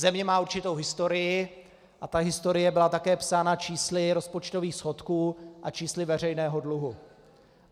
Země má určitou historii a ta historie byla také psána čísly rozpočtových schodků a čísly veřejného dluhu.